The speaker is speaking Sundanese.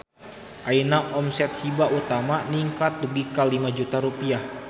Ayeuna omset Hiba Utama ningkat dugi ka 5 juta rupiah